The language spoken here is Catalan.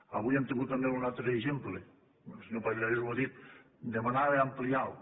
avui n’hem tingut també un altre exemple el senyor pallarès ho ha dit demanava ampliar lo